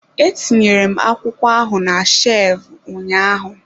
Etinyere m akwụkwọ ahụ na shevu ụnyaahụ.